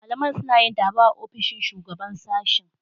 Malaman suna yin taro a ofishin Shugaban Sashen.